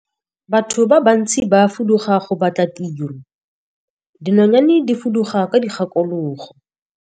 Batho ba bantsi ba fuduga go batla tiro, dinonyane di fuduga ka dikgakologo.